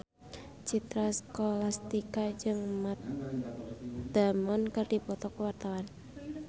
Citra Scholastika jeung Matt Damon keur dipoto ku wartawan